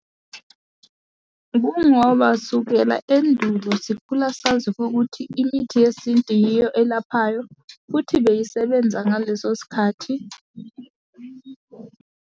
Kwangoba sukela endulo sikhula sazi kokuthi imithi yesintu yiyo elaphayo, futhi beyisebenza ngaleso sikhathi.